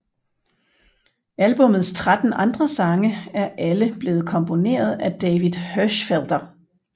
Albummets tretten andre sange er alle blevet komponeret af David Hirschfelder